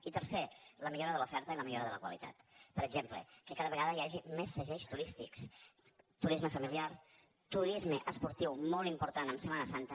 i tercer la millora de l’oferta i la millora de la qualitat per exemple que cada vegada hi hagi més segells turístics turisme familiar turisme esportiu molt important en setmana santa